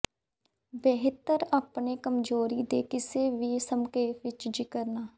ਬਿਹਤਰ ਆਪਣੇ ਕਮਜ਼ੋਰੀ ਦੇ ਕਿਸੇ ਵੀ ਦੇ ਸੰਖੇਪ ਵਿਚ ਜ਼ਿਕਰ ਨਾ